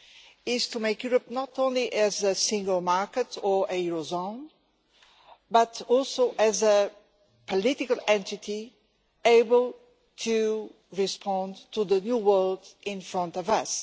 It is to make Europe not only a single market or a eurozone, but also a political entity able to respond to the new world in front of us.